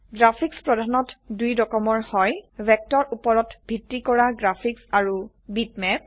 graphics প্ৰধানত দুই ৰকমৰ হয় ভেক্টৰউপৰত ভিত্তি কৰা গ্ৰাফিক্চ আৰু বিটম্যাপ